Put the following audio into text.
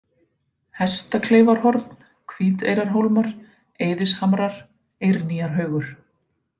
Hestakleifarhorn, Hvíteyrarhólmar, Eiðishamrar, Eirnýjarhaugur